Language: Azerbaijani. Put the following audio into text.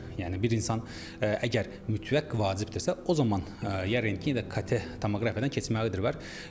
Yəni bir insan əgər mütləq vacibdirsə, o zaman ya rentgendə, ya KT tomoqrafiyadan keçməlidir onlar.